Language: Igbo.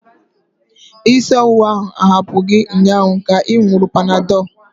Isi ọwụwa ahụ ahapụ gị ụnyaahụ ka ị ṅuru panadol?